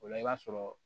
O la i b'a sɔrɔ